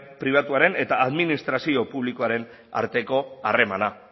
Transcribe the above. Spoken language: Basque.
pribatuaren eta administrazio publikoaren arteko harremana